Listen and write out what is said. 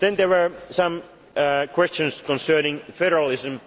than ever before. There were some questions concerning